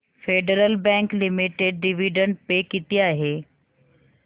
federal Bank Limited dividend pay किती आहे